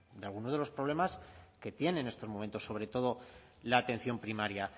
algunos de los problemas que tiene en estos momentos sobre todo la atención primaria